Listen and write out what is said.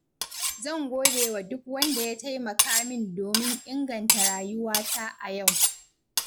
Zan godewa duk wanda ya taimaka min domin inganta rayuwata a yau.